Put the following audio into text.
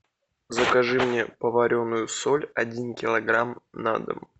закажи мне поваренную соль один килограмм на дом